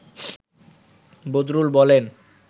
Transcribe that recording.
বদরুল বলেন